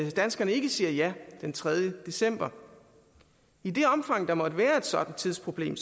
danskerne ikke siger ja den tredje december i det omfang der måtte være et sådant tidsproblem